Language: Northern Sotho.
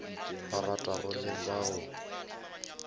ba ratago le ba o